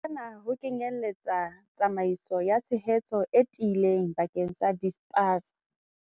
Hona ho kenyeletsa tsamaiso ya tshehetso e tiileng bakeng sa dispaza.